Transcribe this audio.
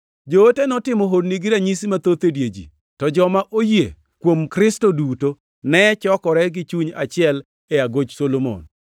Joote notimo honni gi ranyisi mathoth e dier ji, to joma oyie kuom Kristo duto ne chokore gi chuny achiel e Agoch Solomon.